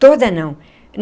Toda não.